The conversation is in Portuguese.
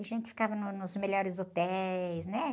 A gente ficava no, nos melhores hotéis, né?